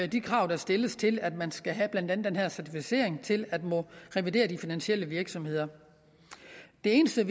de krav der stilles til at man skal have blandt andet den her certificering til at måtte revidere de finansielle virksomheder det eneste er